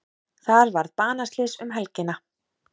Þar varð banaslys um helgina.